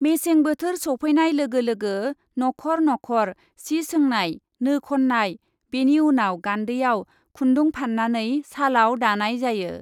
मेसें बोथोर सौफै नाय लोगो लोगो नख ' र नख ' र सि सोनाय , नो खन्नाय , बेनि उनाव गान्दैआव खुन्दु फान्नानै सालाव दानाय जायो ।